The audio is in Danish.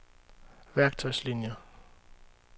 værktøjslinier